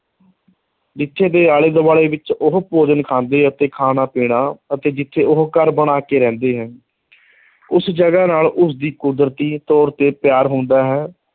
ਜਿੱਥੇ ਦੇ ਆਲੇ ਦੁਆਲੇ ਵਿੱਚ ਉਹ ਭੋਜਨ ਖਾਂਦੇ ਅਤੇ ਖਾਣਾ-ਪੀਣਾ ਅਤੇ ਜਿੱਥੇ ਉਹ ਘਰ ਬਣਾ ਕੇ ਰਹਿੰਦੇ ਹੈ ਉਸ ਜਗ੍ਹਾ ਨਾਲ ਉਸਦੀ ਕੁਦਰਤੀ ਤੌਰ ਤੇ ਪਿਆਰ ਹੁੰਦਾ ਹੈ,